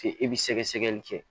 F'e bi sɛgɛsɛgɛli kɛ